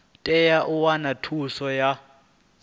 tea u wana thuso ya